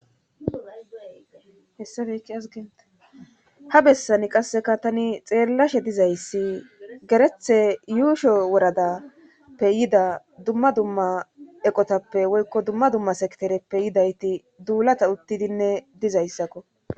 hessafekiazgeene ha bessani qasseka tani xeellashe dizayssi gerethe yuusho woradappe yida dumma dumma eqotappe woykko dumma dumma sektereppe yidayti duulata uttidinne dizayssakko